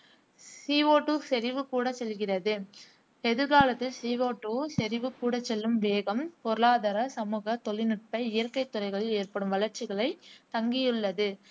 C O two செறிவு கூடச்செல்கிறது. எதிர்காலத்தில் சி ஓடூ செறிவு கூடச்செல்லும் வேகம் பொருளாதார, சமுக, தொழில்நுட்ப, இயற்கை துறைகளில் ஏற்படும் வளர்ச்சிகளை தங்கியுள்ளது.